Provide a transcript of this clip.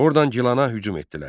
Ordan Gilana hücum etdilər.